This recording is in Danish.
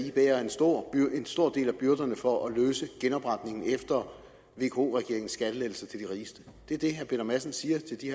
i bærer en stor stor del af byrderne for at løse genopretningen efter vko regeringens skattelettelser til de rigeste det er det herre peter madsen siger til de